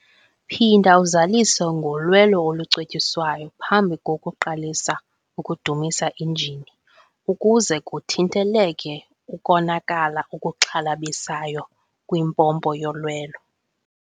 Phinda uzalise ngolwelo olucetyiswayo phambi kokuqalisa ukudumisa injini ukuze kuthinteleke ukonakala okuxhalabisayo kwimpompo yolwelo.